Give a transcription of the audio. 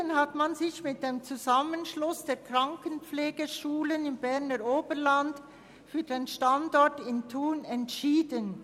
Im Jahr 2007 hat man sich mit dem Zusammenschluss der Krankenpflegeschulen im Berner Oberland für den Standort in Thun entschieden.